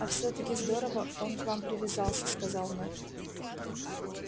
а всё таки здорово он к вам привязался сказал мэтт